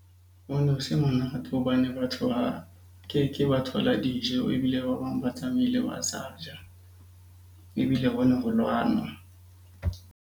Ho no se monate hobane batho ba keke ba thola dijo, ebile ba bang ba tsamaile ba sa ja. Ebile ho ne ho lwanwa.